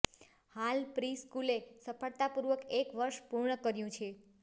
હાલ પ્રિ સ્કૂલે સફળતા પૂર્વક એક વર્ષ પૂર્ણ કર્યું છે